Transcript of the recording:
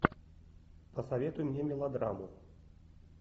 посоветуй мне мелодраму